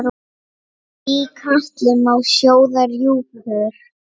Í katli má sjóða rjúpur?